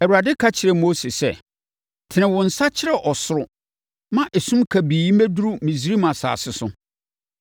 Awurade ka kyerɛɛ Mose sɛ, “Tene wo nsa kyerɛ ɔsoro ma esum kabii mmɛduru Misraim asase so.”